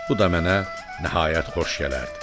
Bu da mənə nəhayət xoş gələrdi.